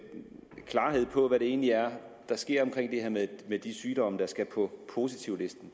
klarhed over hvad det egentlig er der sker omkring det her med de sygdomme der skal på positivlisten